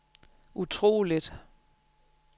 utroligt